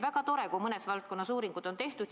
Väga tore, kui mõnes valdkonnas uuringud on tehtud.